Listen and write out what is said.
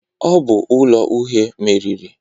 Ọ bụ ụlọ uhe meriri.